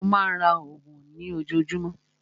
Mó má a ń ra oògùn ní ojoojúmọ́.